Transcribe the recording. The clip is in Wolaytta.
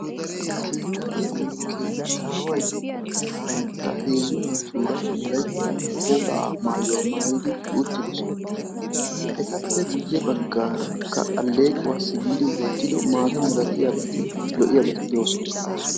Keetayiyaanne keettaway banttaa heezzu naatura Wolaytta woga maayuwaa maayyidi utidoosona; etappe guyyee baggara aleequwaasi giidi wottido lo''iyaabati de'oosona.